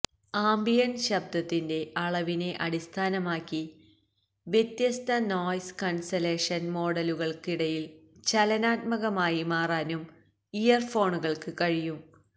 ambient ശബ്ദത്തിന്റെ അളവിനെ അടിസ്ഥാനമാക്കി വ്യത്യസ്ത നോയ്സ് ക്യാൻസലേഷൻ മോഡുകൾക്കിടയിൽ ചലനാത്മകമായി മാറാനും ഇയർഫോണുകൾക്ക് കഴിയും